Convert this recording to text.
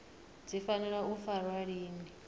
dzi fanela u farwa lini